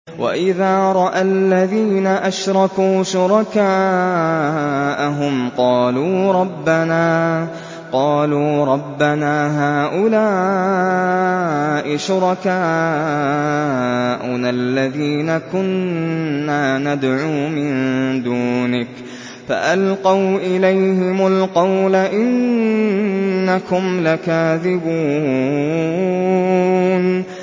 وَإِذَا رَأَى الَّذِينَ أَشْرَكُوا شُرَكَاءَهُمْ قَالُوا رَبَّنَا هَٰؤُلَاءِ شُرَكَاؤُنَا الَّذِينَ كُنَّا نَدْعُو مِن دُونِكَ ۖ فَأَلْقَوْا إِلَيْهِمُ الْقَوْلَ إِنَّكُمْ لَكَاذِبُونَ